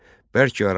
Bərk aralanır.